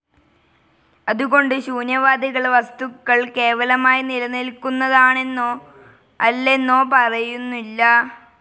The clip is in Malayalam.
അതുകൊണ്ട് ശൂന്യവാദികൾ വസ്തുക്കൾ കേവലമായി നിലനിൽക്കുതാണെന്നോ അല്ലെന്നോ പറയുന്നില്ല.